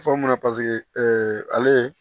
Fɔ mun na paseke ale ye